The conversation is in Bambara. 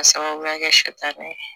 K'a sababuya kɛ sɛmɛ ye